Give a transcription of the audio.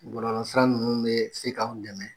Bɔlɔlɔ sira ninnu bɛ se k'anw dɛmɛ